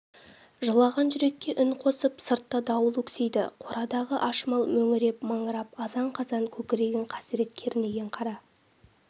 жылаған жүрекке үн қосып сыртта дауыл өксиді қорадағы аш мал мөңіреп-маңырап азан-қазан көкірегін қасырет кернеген қара